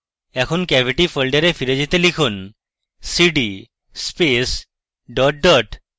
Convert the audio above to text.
এখন cavity ফোল্ডারে ফিরে যেতে লিখুন cd space dot dot